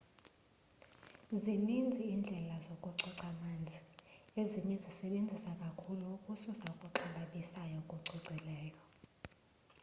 zinintsi indlela zokucoca manzi ezinye zisebenza kakhulu ukususa okuxhalabisayo okucacileyo